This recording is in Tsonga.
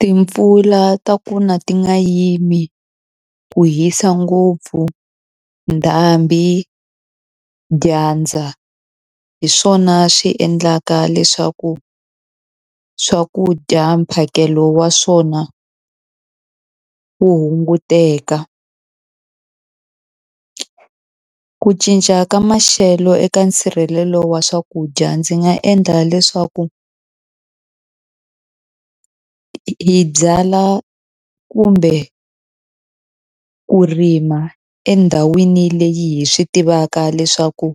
Timpfula ta ku na ti nga yimi ku hisa ngopfu ndhambi dyandza hi swona swi endlaka leswaku swakudya mphakelo wa swona wu hunguteka ku cinca ka maxelo eka nsirhelelo wa swakudya ndzi nga endla leswaku hi byalwa kumbe ku rima endhawini leyi hi swi tivaka leswaku